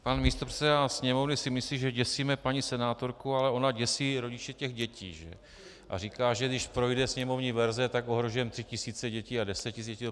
Pan místopředseda sněmovny si myslí, že děsíme paní senátorku, ale ona děsí rodiče těch dětí a říká, že když projde sněmovní verze, tak ohrožujeme tři tisíce dětí a deset tisíc děti.